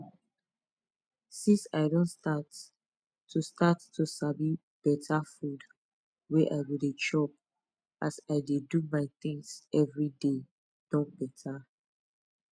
since i don start to start to sabi better food wey i go dey chop as i dey do my things every day don better